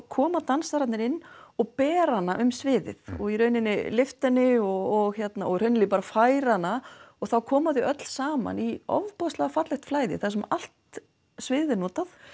koma dansararnir inn og bera hana um sviðið og í raun lyfta henni og og hreinlega bara færa hana og þá koma þau öll saman í ofboðslega fallegt flæði þar sem allt sviðið er notað